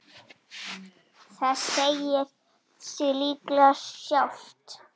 Það segir sig líklega sjálft.